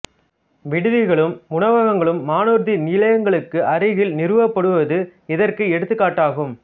விடுதிகளும் உணவகங்களும் வானூர்தி நிலையங்களுக்கு அருகில் நிறுவப்படுவது இதற்கு எடுத்துக்காட்டு ஆகும்